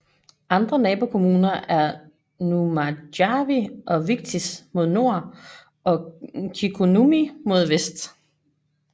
Andre nabokommuner er Nurmijärvi og Vichtis mod nord og Kirkkonummi mod vest